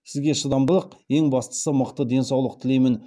сізге шыдамдылық ең бастысы мықты денсаулық тілеймін